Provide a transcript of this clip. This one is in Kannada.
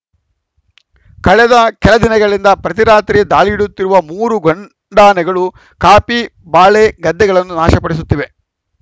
ಕಳೆದ ಕೆಲ ದಿನಗಳಿಂದ ಪ್ರತಿ ರಾತ್ರಿ ದಾಳಿಯಿಡುತ್ತಿರುವ ಮೂರು ಗಂಡಾನೆಗಳು ಕಾಫಿ ಬಾಳೆ ಗದ್ದೆಗಳನ್ನು ನಾಶಪಡಿಸುತ್ತಿವೆ